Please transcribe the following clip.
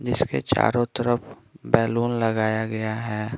जिसके चारों तरफ बैलून लगाया गया है।